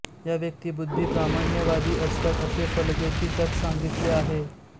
या व्यक्ती बुद्धिप्रामाण्यवादी असतात असे फलज्योतिष्यात सांगितले आहे